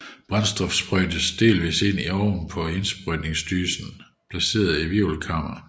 Brændstoffet sprøjtes delvist ind i det oven over indsprøjtningsdysen placerede hvirvelkammer